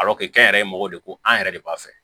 kɛ n yɛrɛ ye mɔgɔw de ko an yɛrɛ de b'a fɛ